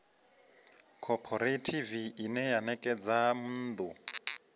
khophorethivi ine ya ṋekedza nnḓu